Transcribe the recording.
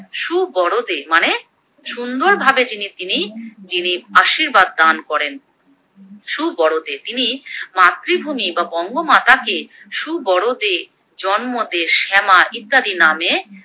সুবরদে মানে সুন্দর ভাবে যিনি তিনি যিনি আশীর্বাদ দান করেন, সুবরদে তিনি মাতৃভূমি বা বঙ্গমাতা কে সুবরদে, জন্মদে, শ্যামা ইত্যাদি নামে